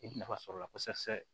I bɛ nafa sɔrɔ a la kosɛbɛ